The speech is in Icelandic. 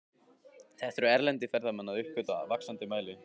Þetta eru erlendir ferðamenn að uppgötva í vaxandi mæli.